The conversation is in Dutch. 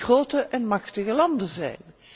grote en machtige landen zijn.